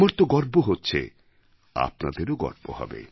আমার তো গর্ব হচ্ছে আপনাদেরও গর্ব হবে